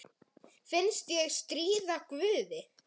Finnst ég stríða guði.